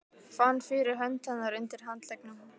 Fann fyrir hönd hennar undir handleggnum.